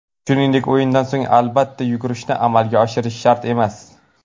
Shuningdek, o‘yindan so‘ng albatta yugurishni amalga oshirish shart emas”.